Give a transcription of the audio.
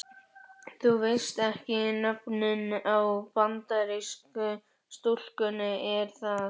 Þú veist ekki nöfnin á Bandarísku stúlkunum er það?